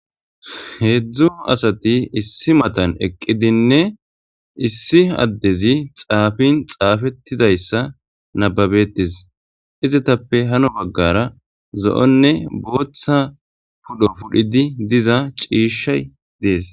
heedzdzu asati issi matan eqqidinne issi addezi xaafin xaafettidayssa nababetis izitappe hano baggara zo7onne booththa pudho pudhidi diza ciishshay dees